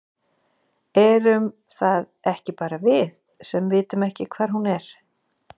Erum það ekki bara við, sem vitum ekki hvar hún er?